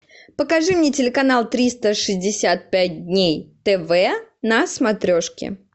покажи мне телеканал триста шестьдесят пять дней тв на смотрешке